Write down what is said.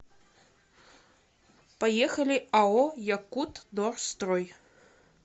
поехали ао якутдорстрой